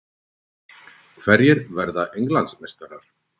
Hverjir verða Englandsmeistarar?